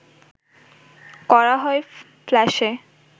করা হয় ফ্ল্যাশে